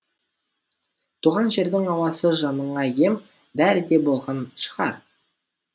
туған жердің ауасы жаныңа ем дәрідей болған шығар